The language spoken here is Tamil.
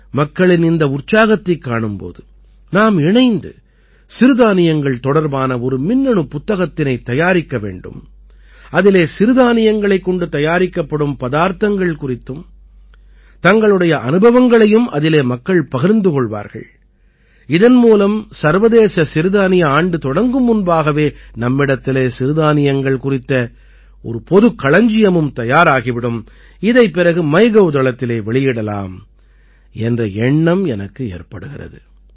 மக்களின் இந்த உற்சாகத்தைக் காணும் போது நாம் இணைந்து சிறுதானியங்கள் தொடர்பான ஒரு மின்னணுப் புத்தகத்தினைத் தயாரிக்க வேண்டும் அதிலே சிறுதானியங்களைக் கொண்டு தயாரிக்கப்படும் பதார்த்தங்கள் குறித்தும் தங்களுடைய அனுபவங்களையும் அதிலே மக்கள் பகிர்வார்கள் இதன் மூலம் சர்வதேச சிறுதானிய ஆண்டு தொடங்கும் முன்பாகவே நம்மிடத்திலே சிறுதானியங்கள் குறித்த ஒரு பொதுக் களஞ்சியமும் தயாராகி விடும் இதைப் பிறகு மைகவ் தளத்திலே வெளியிடலாம் என்ற எண்ணம் எனக்கு ஏற்படுகிறது